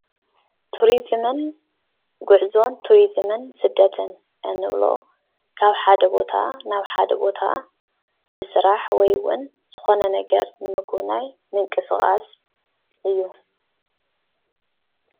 ትሪዝምን ጉዕዞን ትሪዝምን ስደትን እንብሎ ካብ ሓደ ቦታ ናብ ሓደ ቦታ ብስራሕ ወይ እውን ዝኾነ ነገር ንምጉብናይ ምንቕስቓስ እዩ፡፡